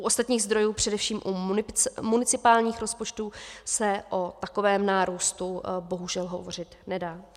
U ostatních zdrojů, především u municipálních rozpočtů, se o takovém nárůstu bohužel hovořit nedá.